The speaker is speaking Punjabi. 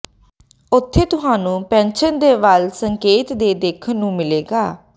ਉੱਥੇ ਤੁਹਾਨੂੰ ਪੈਨਸ਼ਨ ਦੇ ਵੱਲ ਸੰਕੇਤ ਦੇ ਦੇਖਣ ਨੂੰ ਮਿਲੇਗਾ